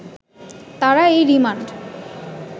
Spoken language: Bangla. তারা এই রিমান্ড